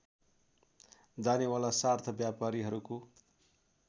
जानेवाला सार्थ व्यापारीहरूको